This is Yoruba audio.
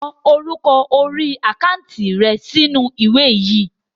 Ko orúkọ orí àkántì rẹ sì inú ìwé yìí!